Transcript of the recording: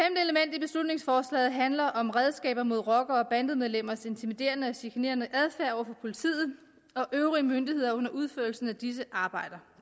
i beslutningsforslaget handler om redskaber mod rockere og bandemedlemmers intimiderende og chikanerende adfærd over for politiet og øvrige myndigheder under udførelsen af disses arbejde